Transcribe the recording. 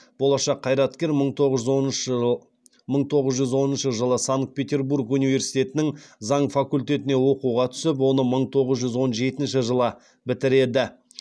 болашақ қайраткер мың тоғыз жүз оныншы жылы санкт петербург университетінің заң факультетіне оқуға түсіп оны мың тоғыз жүз он жетінші жылы бітіреді